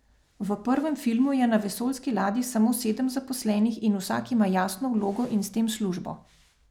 V prvem filmu je na vesoljski ladji samo sedem zaposlenih in vsak ima jasno vlogo in s tem službo.